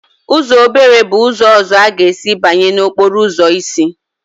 Uzọ obere bụ ụzọ ọzọ ị ga-esi banye n'okporo ụzọ isi.